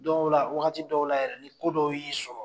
o la wagati dɔw la yɛrɛ ni ko dɔw y'i sɔrɔ